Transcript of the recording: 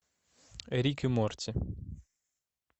рик и морти